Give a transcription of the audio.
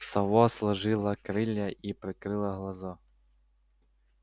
сова сложила крылья и прикрыла глаза